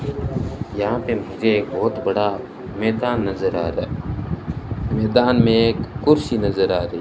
यहां पे मुझे एक बहुत बड़ा मैदान नजर आ रहा है मैदान में एक कुर्सी नजर आ रही--